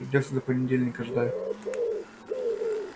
придётся до понедельника ждать